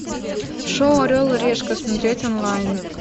шоу орел и решка смотреть онлайн